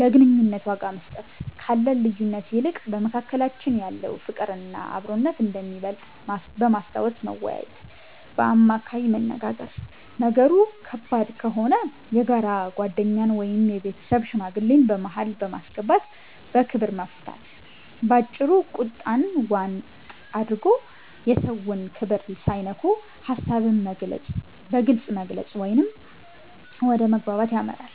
ለግንኙነቱ ዋጋ መስጠት፦ ካለን ልዩነት ይልቅ በመካከላችን ያለው ፍቅርና አብሮነት እንደሚበልጥ በማስታወስ መወያየት። በአማካይ መነጋገር፦ ነገሩ ከባድ ከሆነ የጋራ ጓደኛን ወይም የቤተሰብ ሽማግሌን በመሃል በማስገባት በክብር መፍታት። ባጭሩ፤ ቁጣን ዋጥ አድርጎ፣ የሰውን ክብር ሳይነኩ ሐሳብን በግልጽ መግለጽ ወደ መግባባት ያመራል።